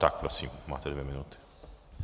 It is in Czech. Tak prosím, máte dvě minuty.